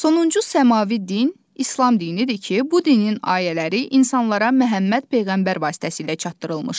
Sonuncu səmavi din İslam dinidir ki, bu dinin ayələri insanlara Məhəmməd peyğəmbər vasitəsilə çatdırılmışdı.